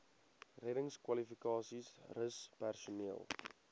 reddingskwalifikasies rus personeel